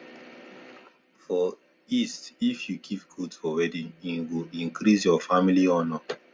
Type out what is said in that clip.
for east if you give goat for wedding e go increase your family honor